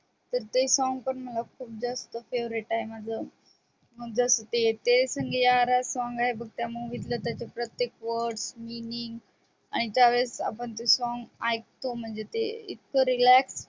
तर ते song पण मला खूप जास्त favorite आहे माझ तेरे संग यारा ते song आहे त्या movie मधले आणि ते आणि ज्या वेळेस आपण ते song ऐकतो तेव्हा इतक relax वाटत